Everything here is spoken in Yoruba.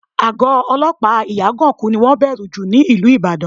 Àgọ́ olọ́pàá Ìyágànkú ni wọ́n bẹ̀rù jù ní ìlú Ìbàdàn